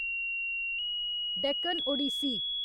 Deccan Odissi